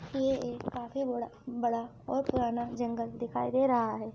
ये एक काफी बड़ा बड़ा और पुराना जंगल दिखाई दे रहा है।